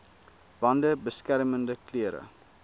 bande beskermende klere